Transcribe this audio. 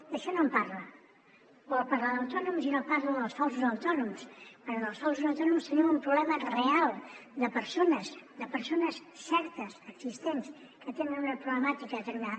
d’això no en parla vol parlar d’autònoms i no parla dels falsos autònoms quan amb els falsos autònoms tenim un problema real de persones de persones certes existents que tenen una problemàtica determinada